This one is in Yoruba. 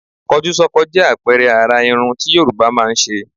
Kọjúsọ́kọ jẹ́ àpẹẹrẹ àrà irun tí Yorùbá máa ń ṣe.